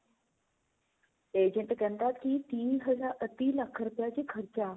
agent ਕਹਿੰਦਾ ਕੀ ਤੀਹ ਹਜ਼ਾਰ ah ਤੀਹ ਲੱਖ ਰੁਪਏ ਕੀ ਖਰਚਾ